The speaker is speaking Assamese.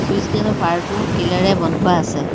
চুইছ গেটৰ পাৰটো শিলেৰে বন্ধোৱা আছে।